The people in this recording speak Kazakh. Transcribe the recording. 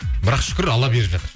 бірақ шүкір алла беріп жатыр